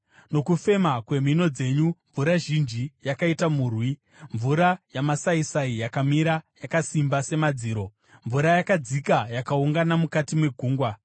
Nokufema kwemhino dzenyu mvura zhinji yakaita murwi. Mvura yamasaisai yakamira yakasimba semadziro; mvura yakadzika yakaungana mukati megungwa.